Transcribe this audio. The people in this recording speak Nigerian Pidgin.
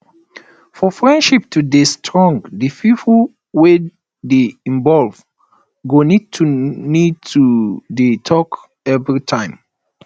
for friendship to dey strong di pipo wey dey involve go need to need to dey talk everytime